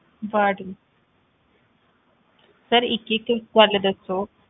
Ward sir ਇੱਕ ਇੱਕ ਗੱਲ ਦੱਸੋ।